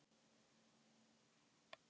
Leiknum er lokið